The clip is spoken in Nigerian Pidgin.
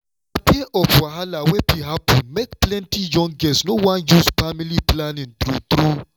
na fear of wahala wey fit happen make plenty young girls no wan use family planning true true.